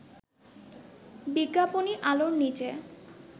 বিজ্ঞাপনি আলোর নিচে